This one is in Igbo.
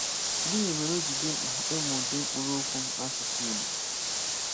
Gịnị́ mére ọ́ jì dị́ mkpà ìmụ́ ùdị̀ mkpụrụ́okwu n’ásụsụ́ Ìgbò?